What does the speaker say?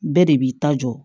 Bɛɛ de b'i ta jɔ